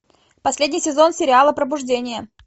последний сезон сериала пробуждение